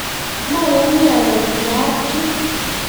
mayani ale kiyaaka chu